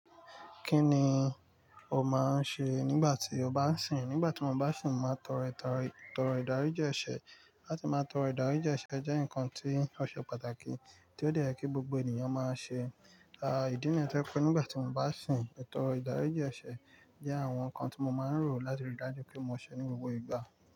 Kí ni o máa ń ṣe nígbà tí o bá ń sìn? Nígbà tí mo bá ń sun, màá tọro ìdaríji ese. Láti máa tọro ìdaríji eṣẹ jẹ́ nǹkan tí ó ṣe pàtàkì tí ó de yẹ kí gbogbo ènìyàn máa ṣe. À idí níyi to je pé nígbà tí mo bá sun, è tòro ìdaríji eṣẹ jẹ́ àwọn nǹkan tí mo máa ń rò láti rí dájú pé mo ṣẹ ní gbogbo ìgbà.